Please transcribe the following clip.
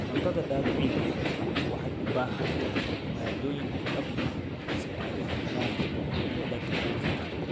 Cuntada dabiiciga ah waxay u baahan tahay maaddooyin dhab ah si ay u helaan dhadhanka ugu fiican.